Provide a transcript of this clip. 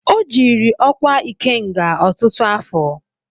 O jiiri ọkwa Ikenga ọtụtụ afọ.